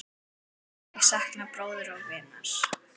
Ég sakna bróður og vinar.